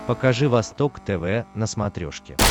покажи восток тв на смотрешке